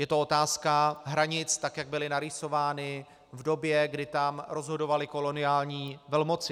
Je to otázka hranic, tak jak byly narýsovány v době, kdy tam rozhodovaly koloniální velmoci.